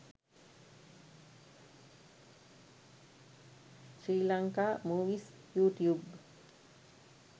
sri lanka movies youtube